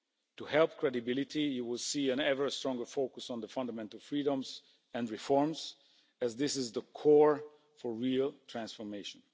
To help credibility, you will see an ever stronger focus on the fundamental freedoms and reforms, as this is the core for real transformation.